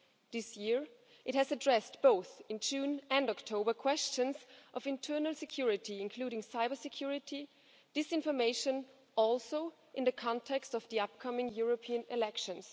This year it addressed, both in June and October, questions of internal security, including cybersecurity and disinformation, also in the context of the upcoming European elections.